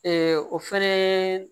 o fɛnɛ